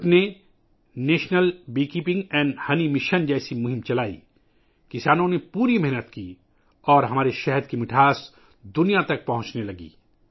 ملک نے شہد کی مکھیوں کو پالنے اور شہد کے مشن جیسی مہم شروع کی، کسانوں نے محنت کی اور ہمارے شہد کی مٹھاس پوری دنیا تک پہنچنے لگی